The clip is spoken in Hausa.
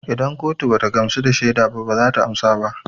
Idan kotu bata gamsu da shaida ba bazata karba ba